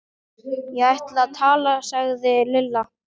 Ég ætla að tala sagði Lilla.